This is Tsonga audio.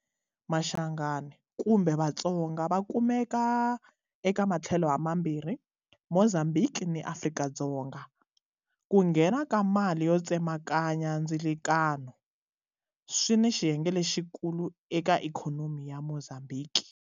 Mashangaan kumbe Vatsonga va kumeka eka matlhelo ha mambirhi, Mozambhiki ni Afrika-Dzonga. Ku nghena ka mali yo tsemakanya ndzilakano swi na xiyenge lexikulu eka Ikhonomi ya Mozambhiki.